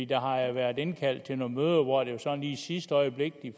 der har jo været indkaldt til nogle møder hvor det var sådan lige i sidste øjeblik